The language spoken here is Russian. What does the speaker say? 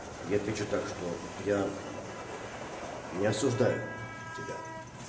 я отвечу так что я не осуждаю тебя